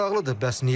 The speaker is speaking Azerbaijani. Maraqlıdır, bəs niyə?